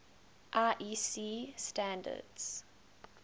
iec standards